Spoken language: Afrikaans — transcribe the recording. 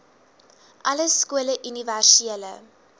alle skole universele